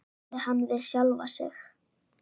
sagði hann við sjálfan sig.